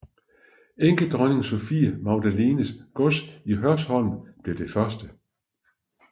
Enkedronning Sophie Magdalenes gods i Hørsholm blev det første